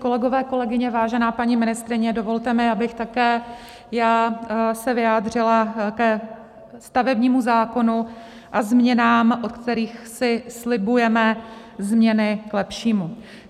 Kolegyně, kolegové, vážená paní ministryně, dovolte mi, abych také já se vyjádřila ke stavebnímu zákonu a změnách, od kterých si slibujeme změny k lepšímu.